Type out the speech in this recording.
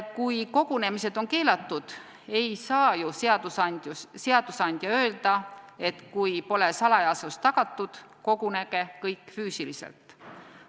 Kui aga kogunemised on keelatud, siis ei saa ju seadusandja öelda, et kui salajasus pole tagatud, kogunege kõik füüsiliselt.